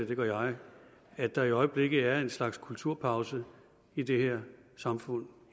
det gør jeg at der i øjeblikket er en slags kulturpause i det her samfund